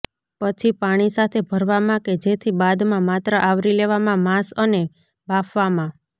પછી પાણી સાથે ભરવામાં કે જેથી બાદમાં માત્ર આવરી લેવામાં માંસ અને બાફવામાં